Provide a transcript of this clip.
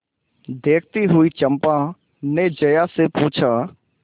देखती हुई चंपा ने जया से पूछा